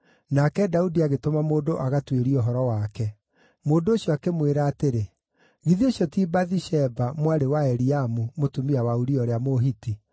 nake Daudi agĩtũma mũndũ agatuĩrie ũhoro wake. Mũndũ ũcio akĩmwĩra atĩrĩ, “Githĩ ũcio ti Bathisheba, mwarĩ wa Eliamu mũtumia wa Uria ũrĩa Mũhiti?”